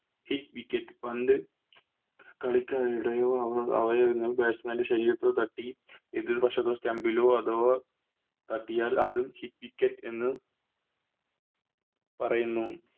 Hit wicket പന്ത് കളിക്കിടയോ അവയൊന്നും Batsman ൻറെ ശരീരത്തിൽ എതിർ വശത്തെ Stump ലോ അഥവാ തട്ടിയാൽ അത് Hit wicket എന്ന് പറയുന്നു